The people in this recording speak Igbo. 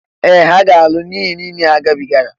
Ee! Ha ga-alụ n'ihe niile a ha gabigara.